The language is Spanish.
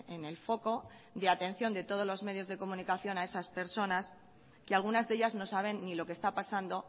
en el foco de atención de todos los medios de comunicación a esas personas que algunas de ellas no saben ni lo que está pasando